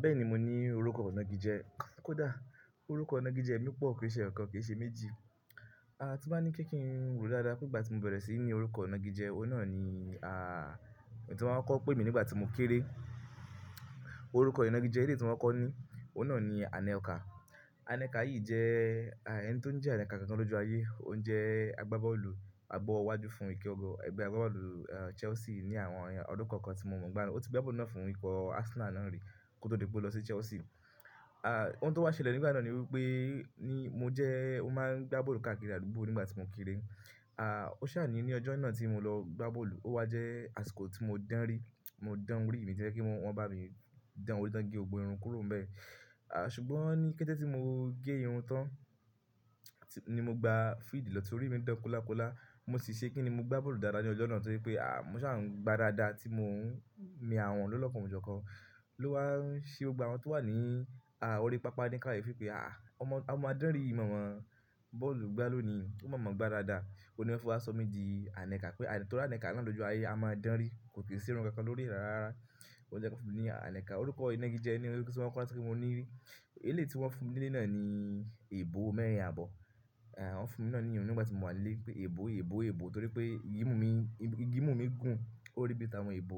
Bẹ́ẹ̀ni mo ní orúkọ ìnági jẹ, kó dà. Orúkọ ìnági jẹ mi pọ̀ kò ṣe eyọ̀kan kì í ṣe méjì. A ti má ní kí ń rò dáadáa pé ìgbà tí mo bẹ̀rẹ̀ sí ní orúkọ ìnági jẹ, òun náà ni a, èyí tí wọ́n máa ń kọ̀ pé mi nígbà tí mo kéré. Orúkọ ìnági jẹ eléyi ti mo kọ́ko ni, òun náà ni Anẹ́kà. Anẹ́kà yìí jẹ́, ẹni tó ń jẹ́ Anẹ́kà gangan lọju ayé, òun jẹ́ agbábọ́ọ̀lù àgbọ̀wo iwájú fún ìkẹ́gò ẹgbẹ́ agbábọ́ọ̀lù Chelsea ní àwọn ọdún kon kan tí mo mọ̀. Ó ti gba bọ́ọ̀lù náà fún ikò Arsenal náà rí kó tó di pé ó lọ sí Chelsea. À, ohun tó wá ṣẹlẹ̀ nígbà náà ni wípé, ni mo jẹ́, ó máa ń gba bọ́ọ̀lù káàkiri àdúgbò nígbà tí mo kéré. À, ó ṣà ní ní ọjọ́ náà tí mo lọ gba bọ́lù ó wá jẹ́ àsìkò tí mo dánri, mo dán orì tí o jepe wọ́n bá mi dán orí tán gé gbógbo irun kúrò n bẹ́ẹ̀. À, ṣùgbọ́n ní kété tí mo gé irun tán, tí, ni mo gba field lọ torí mi dán kolàkolà. Mo sì ṣe kín ni mo gba bọ́lù dáadáa ní ọjọ́ náà to se pé, à, mo ṣà ń gba dáadáa tí mò ń mi àwọn lọ́lọ́kan ọ̀jọ̀ọ̀kan ló wá ń ṣe gbogbo àwọn tó wà ní, à, orí pápá ní káàye fí pé, à, ọmọ a máa dánrí yi maàmá bọ́ọ̀lù gbá lónìí, ó máa mọ̀ gba dáadáa. O ni wọ́n fi waṣọ midì Anẹ́kà pé, torí Anẹ́kà náà lọ́jọ́ ayé a máa dánrí, kò kì í ṣi irun kankan lórí rara. O jẹ́ kan wọ́n fún mi ní Anẹ́kà. Orúkọ ìnági ni orúkọ tí wọ́n kọ́ ti mo ní rí. Eléyi tí wọ́n fún mi ní ilé náà ni èèbó mẹ́rin àbọ̀. À, wọ́n fún mi náà ní iyi un nígbà tí mo wà nílé pé èèbó, èèbó, èèbó torí pé ìmu mí igimu mi gùn, ó rí bí i ta wọn èèbó.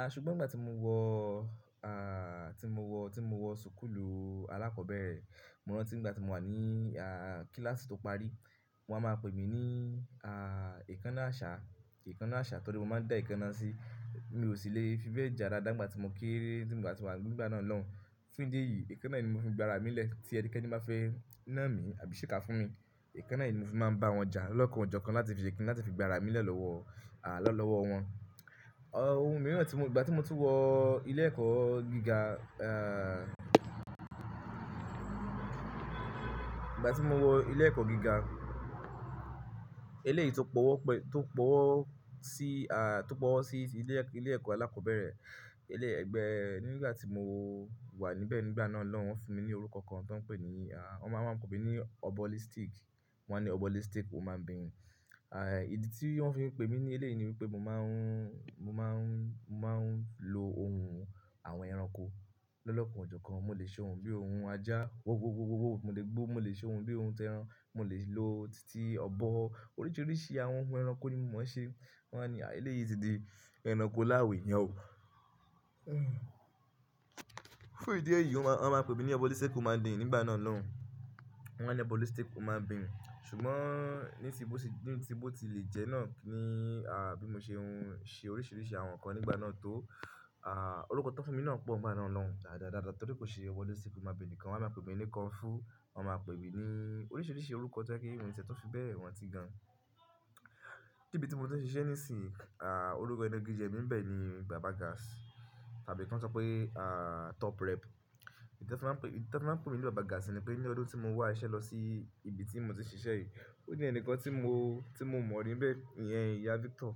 À, ṣùgbọ́n ìgbà tí mo wọ, à, tí mo wọ, tí mo wọ sukulu alákọ̀ọ́bẹ̀rẹ̀, mò ń rántí n gbà tí mo wà ní, à, kíláàsì tó parí, wọ́n á máa pè mí ní, à, èékánná àṣá, èékánná àṣá torí mo máa ń dá èékánná sí. Mi ò sì le fi bẹ́ẹ̀ ja dáadáa n gbà tí mo kéré tí mo ti mo wà nígbà náà lọ́hun. Fún ìdí èyí, èékánná yìí ni mo fi ń gba ara mi lẹ́ tí ẹ̀ni keni bá fẹ́ ná mi àbí ṣe ka fún mi. Èékánná yìí ni mo fi máa ń bá wọn ja lolọ́kàn ọ̀jọ̀kan láti fi ṣe kíni, láti fi gba ara mi lẹ́ lọ́wọ́, à, lọ́wọ́ wọn. Ọ, ohun míì rán tí mò, ìgbà tí mo tun wọ ilé ẹ̀kọ́ gíga, à, ìgbà tí mo wọ ilé ẹ̀kọ́ gíga, eléyìí tó pọ̀ọ́ pẹ́, tó pọ̀ọ́ sí, à, tó pọ̀ọ́ sí ilé, ilé ẹ̀kọ́ alákọ̀ọ́bẹ̀rẹ̀, ilé ẹgbẹ́ nígbà tí mo wà níbẹ̀ nígbà náà lọ́hun wọ́n fún mi ní orúkọ kan tó ń pè ní, à, wọ́n máa ń pè mí ní ọ̀bọ́ lístíkì. Wọ́n á ní ọ̀bọ́ lístíkì, human being. Àì, ìdí tí wọ́n fi ń pè mí ní eléyìí ni wípé mò máa ń, mò máa ń, mò máa ń lo ohun àwọn ẹranko lọ́lọ́kan ọ̀jọ̀ọ̀kan. Mo lè ṣe ohun bíi ohun ajá, wó wó wó wó wó, mo lè gbó, mo lè ṣe ohun bíi ohun tẹran, mo lè lo titi ọ̀bọ. Oríṣiríṣi àwọn ohun ẹranko ni mò mo n ṣe. Wọ́n á ní a eléyìí ti di ẹranko láwo èényàn o. Fún ìdí èyí, wọ́n máa ń pè mí ní ọ̀bọ́ lístíkì human being nígbà náà lọ́hun. Wọ́n á ní ọ̀bọ́ lístíkì, o máa ń bín. Ṣùgbọ́n ní síbò tí, ní síbò tí lè jẹ́ náà ni, à, bí mo ṣe ohun, ṣe oríṣiríṣi àwọn nǹkan nígbà náà tó, à, orúkọ tó fún mi náà pọ̀ nígbà náà lọ́hun dáadáa dáadáa torí kò ṣe ọ̀bọ́ lístíkì human being nìkan. Wọn á máa pè mí nì konfú, wọ́n á máa pè mí ní oríṣiríṣi orúkọ tó jepẹ̀ mi tun fi bẹ̀ẹ̀ ran ti gan. Ibí tí mo ti ń ṣiṣẹ́ nísìnyìí, à, orúkọ ìnági jẹ mí n bẹ́ẹ̀ ni bàbá gas àbí kon sọ pé, à, top rep. Ìdí tí wọ́n máa ń pe, ìdí tí wọ́n fi máa ń pè mí ní bàbá gas ni pé ní ọdún tí mo wá iṣẹ́ lọ sí ibi tí mo ti ń ṣiṣẹ́ yìí, ó ní ẹnìkan tí mo, tí mo mọ̀ rí n bẹ́ẹ̀ iyẹn, Ìyá Victor.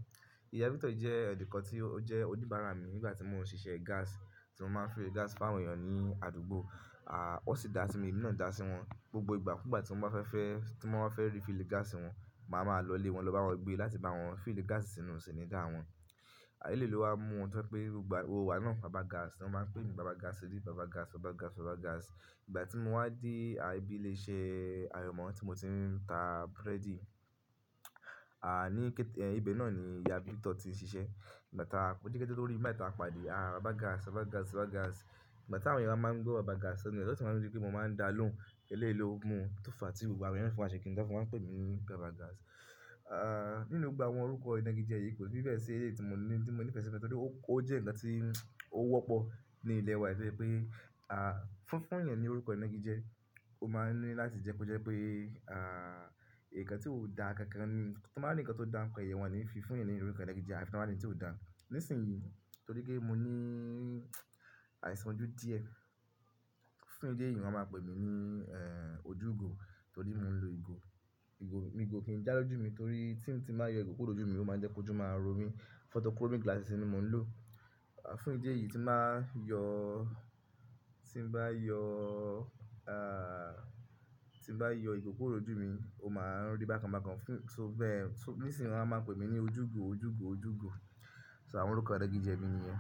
Ìyá Victor jẹ́ ẹ̀nikan tí ó jẹ́ òdìbàrà mi nígbà tí mò ń ṣiṣẹ́ gas, tí mo máa ń fill gas fún àwọn èèyàn ní àdúgbò. À, ó sì dá sí mi, emi náà dá sí wọn. Gbogbo ìgbà, nígbà tí wọ́n bá fẹ́ fẹ́, tí wọ́n ba fẹ́ rí fílíì gas wọn, màá máa lọ ilé wọn lọ bá wọn gbé láti bá wọn filíì gas sínú sìnídà wọn. Eléyìí ló wá mú wọn tó pé gba, gbogbo ìgbà náà bàbá gas. Niwọn máa ń pè mi bàbá gas, dí bàbá gas, bàbá gas, bàbá gas. Ìgbà tí mo wá dé, à, ibi ilé iṣẹ́ ayọ̀mọ́ tí mo ti ń ta búrẹ́dì, à, ní kété, ibẹ náà ni Ìyá Victor ti ń ṣiṣẹ́. Ìgbà tá a kó dí kété lórí bí mo bá ta pàdé, à, bàbá gas, bàbá gas, bàbá gas. Ìgbà tí àwọn èèyàn wá máa ń gbọ́ bàbá gas sọ́nà, tí wọ́n sì máa ri wípé mò ń máa ń dá lóhùn. Eléyìí ló mú tó fà tí gbogbo àwọn èèyàn na fin wa ń ṣe kínni tan fin, wan ń pè mí ní bàbá gas. À, nínú gbogbo àwọn orúkọ ìnági jẹ yìí kò sí bẹ́ẹ̀ sí eléyìí tí mò ń ní, tí mò ń nífẹ̀ẹ́ sí nítorí ó, ó jẹ́ ǹkan tí ó wọ́pọ̀ ní ilé wa. To ye pé, à, fún, fún èèyàn ni orúkọ ìnági jẹ. Ó máa ń ní láti jẹ́ ko jẹ́ pé, à, ǹkan tí ó da kankan ni, tí wọ́n báa rin ǹkan tó dá nípa èèyàn wọn ò ní fi fún èèyàn ní orúkọ ìnági jẹ àbí tí wọ́n báa rin n tí ó da. Nísìnyìí, torí pé mo ní àìsàn ojú díẹ̀, fún ìdí èyí wọ́n máa ń pè mí ní, ẹ́, ojúgo torí mo ń lo ìgò. Ìgò, ìgò kí ń dá lójú mi torí tí mo bá yọ ìgò kúrò lójú mi ó máa jẹ́ kó jọ máa ro mí. Photochromic glasses ni mò ń lò. À, fún ìdí èyí tí bàá yọ, tí n bá yọ, à, tí n bá yọ ìgò kúrò lójú mi, ó máa ń rí bákan bákan. Fún, so bẹ́ẹ̀, so, nísìnyìí wọ́n á máa pè mí ní ojúgo, ojúgo, ojúgo. So àwọn orúkọ ìná.